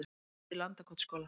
Eldur í Landakotsskóla